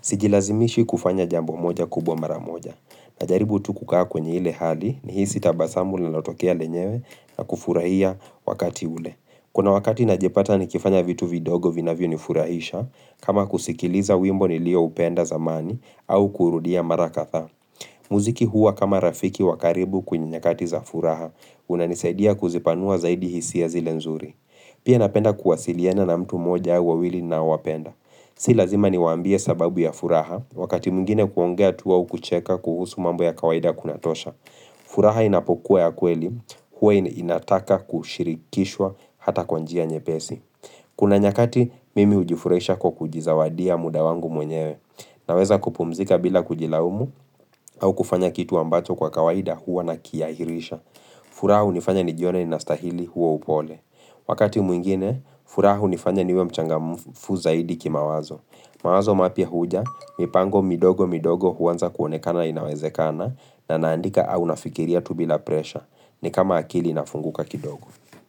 Sijilazimishi kufanya jambo moja kubwa mara moja. Najaribu tukukaa kwenye ile hali ni hisi tabasamu lalatokea lenyewe na kufurahia wakati ule. Kuna wakati najepata nikifanya vitu vidogo vinavio nifurahisha kama kusikiliza wimbo nilio upenda zamani au kurudia mara katha. Muziki huwa kama rafiki wakaribu kwenye nyakati za furaha unanisaidia kuzipanua zaidi hisia zile nzuri Pia napenda kuwasiliena na mtu moja wawili naowapenda Si lazima ni wambie sababu ya furaha wakati mwingine kuongea tuwa u kucheka kuhusu mambo ya kawaida kunatosha furaha inapokuwa ya kweli huwa inataka kushirikishwa hata kwanjia nye pesi Kuna nyakati mimi ujifuraisha kwa kujizawadia mudawangu mwenyewe Naweza kupumzika bila kujilaumu au kufanya kitu ambacho kwa kawaida huwa na kiahirisha furaha hunifanya nijione ni nastahili huwa upole Wakati mwingine, furaha hunifanya niwe mchangamufu zaidi ki mawazo mawazo mapia huja, mipango midogo midogo huwanza kuonekana inawezekana na naandika au nafikiria tubila presha ni kama akili inafunguka kidogo.